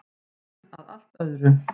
En að allt öðru.